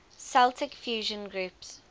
celtic fusion groups